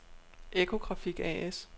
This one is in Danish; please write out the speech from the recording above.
Echo Graphic A/S